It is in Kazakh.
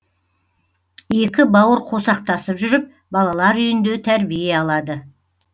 екі бауыр қосақтасып жүріп балалар үйінде тәрбие алады